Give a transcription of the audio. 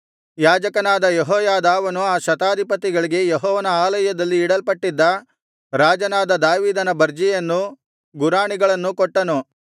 ಯಾಜಕನಾದ ಯೆಹೋಯಾದಾವನು ಆ ಶತಾಧಿಪತಿಗಳಿಗೆ ಯೆಹೋವನ ಆಲಯದಲ್ಲಿ ಇಡಲ್ಪಟ್ಟಿದ್ದ ರಾಜನಾದ ದಾವೀದನ ಬರ್ಜಿಯನ್ನೂ ಗುರಾಣಿಗಳನ್ನೂ ಕೊಟ್ಟನು